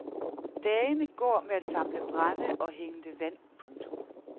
Dagene går med at samle brænde og hente vand. punktum